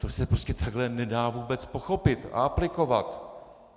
To se prostě takhle nedá vůbec pochopit a aplikovat.